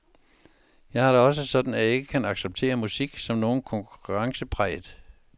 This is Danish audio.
Jeg har det også sådan, at jeg ikke kan acceptere musik som noget konkurrencepræget.